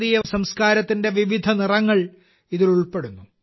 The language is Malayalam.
ഭാരതീയ സംസ്കാരത്തിന്റെ വിവിധ നിറങ്ങൾ ഇതിൽ ഉൾപ്പെടുന്നു